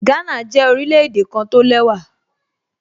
Gánà jẹ́ orílẹ̀-èdè kan tó lẹ́wà